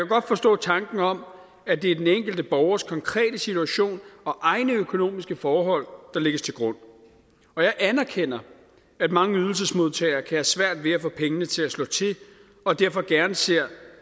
godt forstå tanken om at det er den enkelte borgers konkrete situation og egne økonomiske forhold der lægges til grund og jeg anerkender at mange ydelsesmodtagere kan have svært ved at få pengene til at slå til og derfor gerne ser